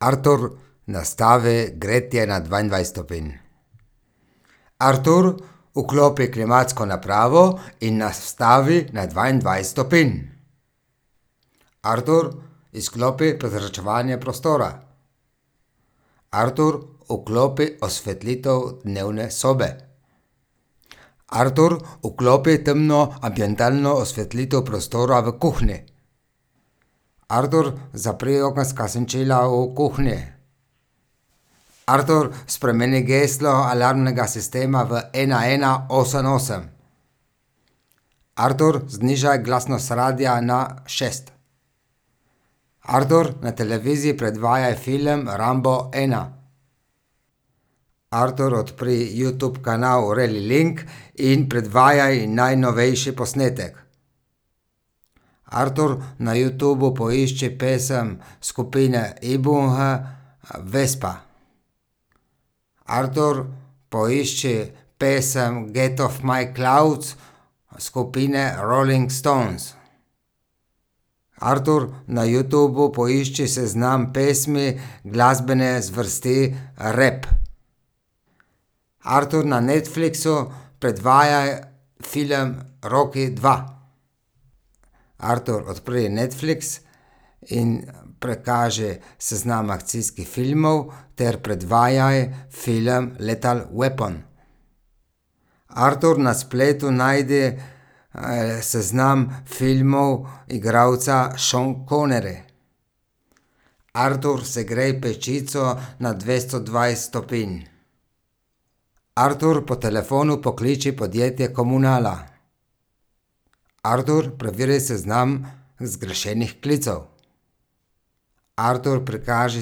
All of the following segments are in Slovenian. Artur, nastavi gretje na dvaindvajset stopinj. Artur, vklopi klimatsko napravo in nastavi na dvaindvajset stopinj. Artur, izklopi prezračevanje prostora. Artur, vklopi osvetlitev dnevne sobe. Artur, vklopi temno ambientalno osvetlitev prostora v kuhinji. Artur, zapri okenska senčila v kuhinji. Artur, spremeni geslo alarmnega sistema v ena, ena, osem, osem. Artur, znižaj glasnost radia na šest. Artur, na televiziji predvajaj film Rambo ena. Artur, odpri Youtub kanal in predvajaj najnovejši posnetek. Artur, na Youtubu poišči pesem skupine Ibunge Vespa. Artur, poišči pesem Get of my clouds skupine Rolling Stones. Artur, na Yuotubu poišči seznam pesmi glasbene zvrsti rap. Artur, ne Netflixu predvajaj film Rocky dva. Artur, odpri Netflix in prikaži seznam akcijskih filmov ter predvajaj film Lethal weapon. Artur, na spletu najdi, seznam filmov igralca Sean Connery. Artur, segrej pečico na dvesto dvajset stopinj. Artur, po telefonu pokliči podjetje Komunala. Artur, preveri seznam zgrešenih klicev. Artur, prikaži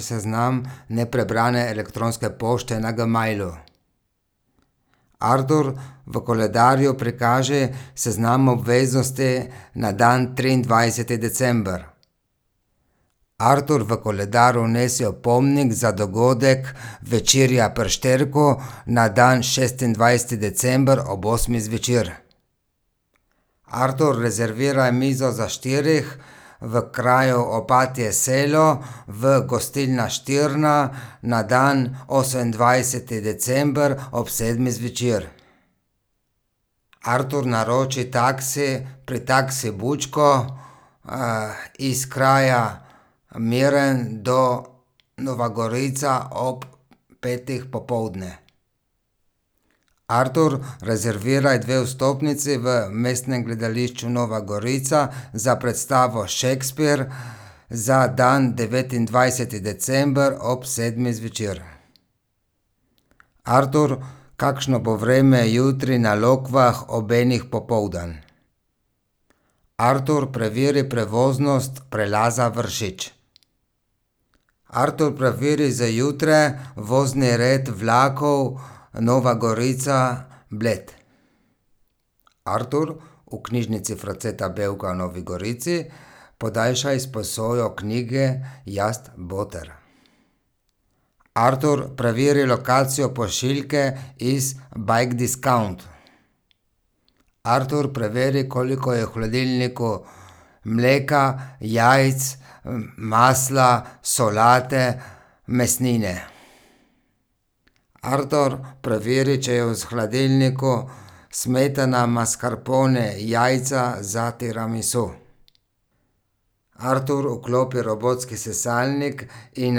seznam neprebrane elektronske pošte na Gmailu. Artur, v koledarju prikaži seznam obveznosti na dan triindvajseti december. Artur, v koledar vnesi opomnik za dogodek večerja pri Šterku na dan šestindvajseti december ob osmih zvečer. Artur, rezerviraj mizo za štirih v kraju Opatje selo v gostilni Štirna na dan osemindvajseti december ob sedmih zvečer. Artur, naroči taksi pri Taksi Vučko, iz kraja Miren do Nova Gorica ob petih popoldne. Artur, rezerviraj dve vstopnici v Mestnem gledališču Nova Gorica za predstavo Shakespeare za dan devetindvajseti december ob sedmih zvečer. Artur, kakšno bo vreme jutri na Lokvah ob enih popoldan? Artur, preveri prevoznost prelaza Vršič. Artur, preveri za jutri vozni red vlakov Nova Gorica- Bled. Artur, v knjižnici Franceta Bevka v Novi Gorici podaljšaj izposojo knjige Jaz, boter. Artur, preveri lokacijo pošiljke iz Bikediscount. Artur, preveri, koliko je v hladilniku mleka, jajc, masla, solate, mesnine. Artur, preveri, če je v hladilniku smetana, maskarpone, jajca za tiramisu. Artur, vklopi robotski sesalnik in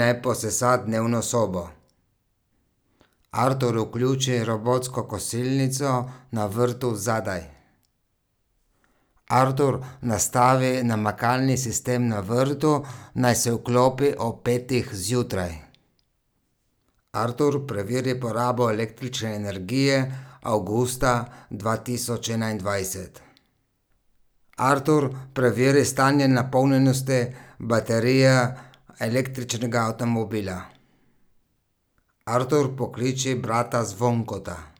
naj posesa dnevno sobo. Artur, vključi robotsko kosilnico na vrtu zadaj. Artur, nastavi namakalni sistem na vrtu, naj se vklopi ob petih zjutraj. Artur, preveri porabo električne energije avgusta dva tisoč enaindvajset. Artur, preveri stanje napolnjenosti baterije električnega avtomobila. Artur, pokliči brata Zvonkota.